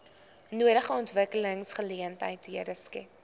nodige ontwikkelingsgeleenthede skep